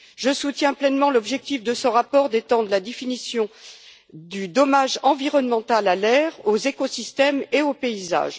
Je soutiens pleinement l'objectif de ce rapport d'étendre la définition du dommage environnemental à l'air, aux écosystèmes et au paysage.